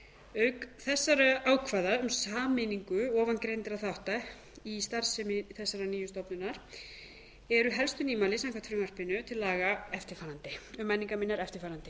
auk þessara ákvæða um sameiningu ofangreindra þátta í starfsemi þessarar nýju stofnunar eru helstu nýmæli samkvæmt frumvarpinu til laga um menningarminjar eftirfarandi